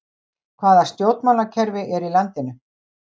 Hvaða stjórnmálakerfi er í landinu